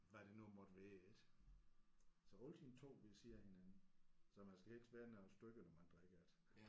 Hvad det nu måtte være ik så altid 2 ved siden af hinanden så man skal helst være nogle stykker når man drikker det